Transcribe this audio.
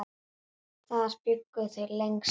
Þar bjuggu þau lengst af.